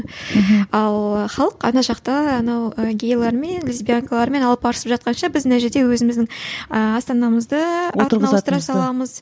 мхм ал халық ана жақта анау і гейлермен лесбиянкалармен арпалысып жатқанша біз мына жерде өзіміздің ыыы астанамызды ауыстыра саламыз